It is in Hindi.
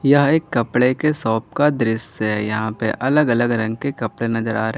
यह एक कपड़े के शॉप का दृश्य है यहां पे अलग अलग रंग के कपड़े नजर आ रहे --